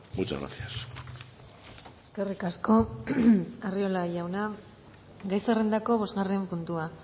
muchas gracias eskerrik asko arriola jauna gai zerrendako bosgarren puntua